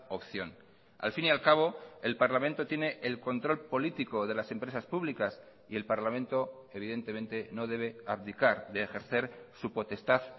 opción al fin y al cabo el parlamento tiene el control político de las empresas públicas y el parlamento evidentemente no debe abdicar de ejercer su potestad